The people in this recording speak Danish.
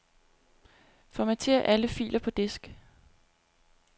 Formater alle filer på disk.